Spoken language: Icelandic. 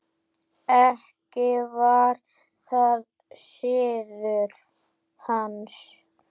Ekki var það siður hans.